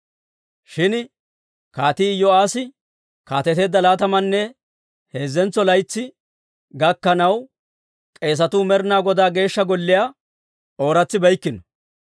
Shin Kaatii Iyo'aassi kaateteedda laatamanne heezzentso laytsi gakkanaw, k'eesatuu Med'ina Godaa Geeshsha Golliyaa ooratsibeykkino.